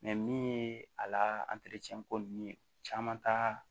min ye a la ko nunnu ye caman t'a